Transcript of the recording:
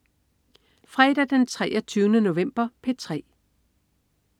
Fredag den 23. november - P3: